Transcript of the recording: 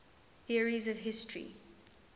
theories of history